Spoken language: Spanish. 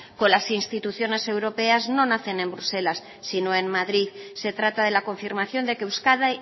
con las instituciones europeas no nacen en bruselas sino en madrid se trata de la confirmación de que euskadi